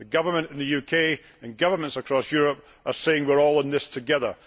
The Government in the UK and governments across Europe are saying we are all in this together.